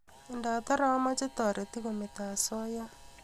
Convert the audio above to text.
ngatare amache taretik ko meto asoya